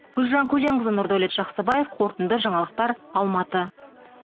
гүлжан көленқызы нұрдәулет жақсыбаев қорытынды жаңалықтар алматы